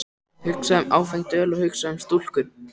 Hugsaðu um áfengt öl og hugsaðu um stúlkur!